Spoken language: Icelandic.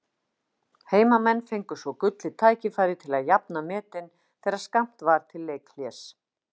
Heimamenn fengu svo gullið tækifæri til að jafna metin þegar skammt var til leikhlés.